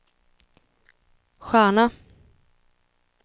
stjärna